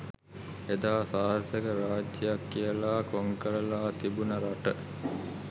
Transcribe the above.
එදා අසාර්ථක රාජ්‍යයක් කියලා කොංකරලා තිබුණු රට